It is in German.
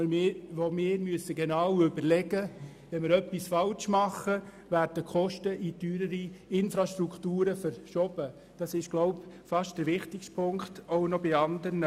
Wir müssen bedenken, dass die Kosten in teurere Infrastrukturen verschoben werden, was wohl auch in Bezug auf andere Spargeschäfte der wichtigste Punkt sein dürfte.